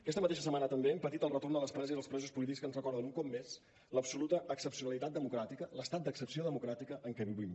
aquesta mateixa setmana també hem patit el retorn de les preses i els presos polítics que ens recorden un cop més l’absoluta excepcionalitat democràtica l’estat d’excepció democràtica en que vivim